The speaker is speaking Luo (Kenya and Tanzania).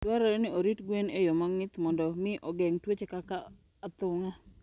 Dwarore ni orit gwen e yo mong'ith mondo mi ogeng' tuoche kaka athung'a.